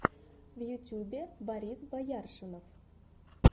в ютюбе борис бояршинов